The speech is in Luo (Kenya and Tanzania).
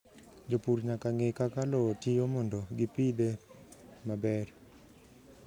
Jopur nyaka ng'e kaka lowo tiyo mondo gipidhe maber.